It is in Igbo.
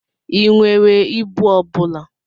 I nwere ibu ọbụla?